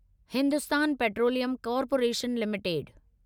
Hindustan petroleum corporation limited